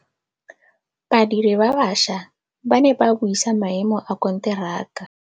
Badiri ba baša ba ne ba buisa maêmô a konteraka.